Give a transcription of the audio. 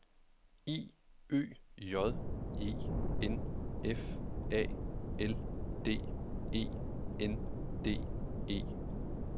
I Ø J E N F A L D E N D E